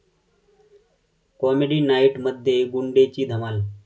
comedy नाईट...'मध्ये 'गुंडे'ची धमाल